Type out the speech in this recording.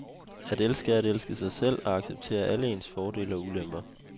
At elske er at elske sig selv og acceptere alle ens fordele og ulemper.